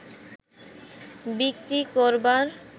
বিক্রি করবার